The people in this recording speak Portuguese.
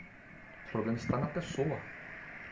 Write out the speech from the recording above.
O problema está na pessoa.